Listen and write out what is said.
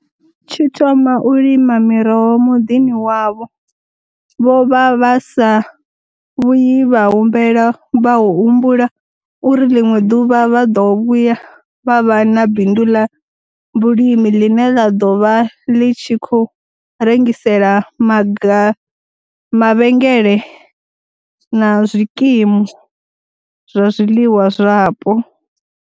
Tshi thoma u lima miroho muḓini wavho, vho vha vha sa vhuyi vha humbula uri ḽiṅwe ḓuvha vha ḓo vhuya vha vha na bindu ḽa vhulimi ḽine ḽa ḓo vha ḽi tshi khou rengisela mavhengele na zwikimu zwa zwiḽiwa zwapo.